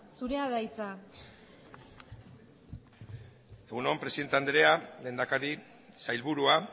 zurea da hitza egun on presidente andrea lehendakari sailburua